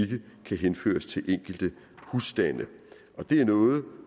kan henføres til enkelte husstande og det er noget